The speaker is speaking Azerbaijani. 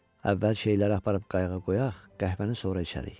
Əvvəl şeyləri aparıb qayıqa qoyaq, qəhvəni sonra içərik.